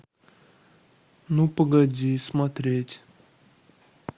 ну погоди смотреть